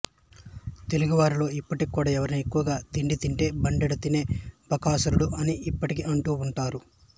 తెలుగువారిలో ఇప్పటికి కూడా ఎవరైనా ఎక్కువగా తిండి తింటే బండెడు తినే బకాసురుడు అని ఇప్పటికీ అంటూ ఉంటారు